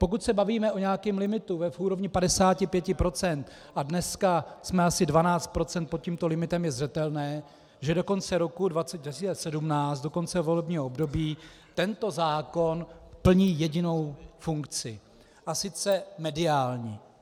Pokud se bavíme o nějakém limitu v úrovni 55 %, a dneska jsme asi 12 % pod tímto limitem, je zřetelné, že do konce roku 2017, do konce volebního období, tento zákon plní jedinou funkci, a sice mediální.